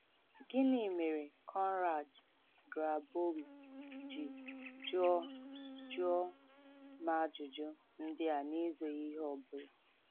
Gịnị mere Konrad Grabowy ji jụọ jụọ m ajụjụ ndị a n’ezoghị ihe ọ bụla?